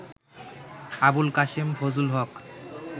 Abul Kashem Fazlul Haque